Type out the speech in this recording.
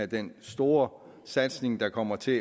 den store satsning der kommer til